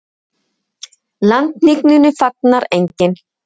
Landhnignunni fagnar enginn.